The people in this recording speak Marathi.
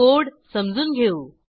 कोड समजून घेऊ